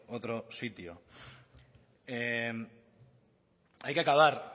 otro sitio hay que acabar